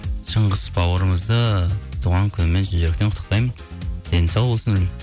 шыңғыс бауырымызды туған күнімен шын жүректен құттықтаймын дені сау болсын